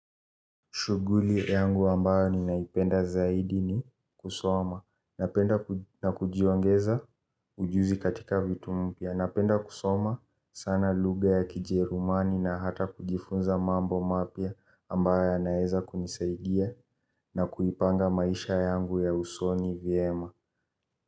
Shuguli yangu ambayo ninaipenda zaidi ni kusoma na kujiongeza ujuzi katika vitu mpya. Napenda kusoma sana luga ya kijerumani na hata kujifunza mambo mapia ambayo naeza kunisaidia na kuipanga maisha yangu ya usoni vyema.